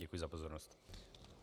Děkuji za pozornost.